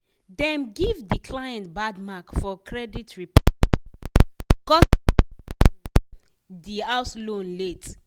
dem give de client bad mark for credit report um because e pay um de house loan late.